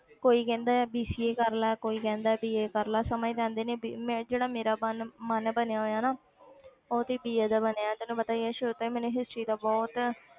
ਕੋਈ ਕਹਿੰਦਾ ਹੈ BCA ਕਰ ਲੈ ਕੋਈ ਕਹਿੰਦਾ BA ਕਰ ਲਾ ਸਮਝ ਤੇ ਆਉਂਦੀ ਨੀ ਵੀ ਮੈਂ ਜਿਹੜਾ ਮੇਰਾ ਮਨ ਮਨ ਬਣਿਆ ਹੋਇਆ ਨਾ ਉਹ ਤੇ BA ਦਾ ਬਣਿਆ ਤੈਨੂੰ ਪਤਾ ਹੀ ਹੈ ਕਿ ਸ਼ੁਰੂ ਤੋਂ ਮੈਨੂੰ history ਦਾ ਬਹੁਤ,